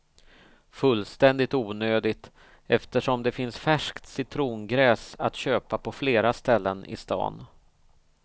Fullständigt onödigt eftersom det finns färskt citrongräs att köpa på flera ställen i stan.